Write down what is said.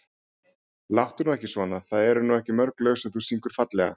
Láttu nú ekki svona það eru nú ekki mörg lög sem þú syngur fallega.